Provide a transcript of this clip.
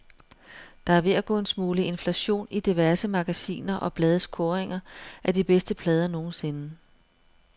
Der er ved at gå en smule inflation i diverse magasiner og blades kåringer af de bedste plader nogensinde.